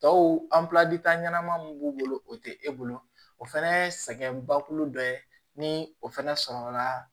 Tɔw ɲɛnama mun b'u bolo o tɛ e bolo o fana ye sɛgɛn bakolo dɔ ye ni o fana sɔrɔ la